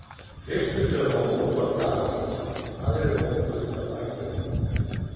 Fyrstur til að koma út var Daði, aðrir hópuðust að baki honum.